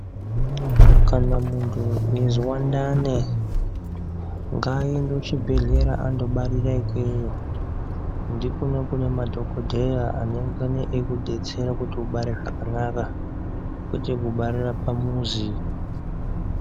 Kana muntu eizwa ndani ngaende ku chi bhedhleya ando barira ikweyo ngekunenge kune madhokodheye anongana eiku detsera kuti ubare zvakanaka kwete kubarira pamuzi.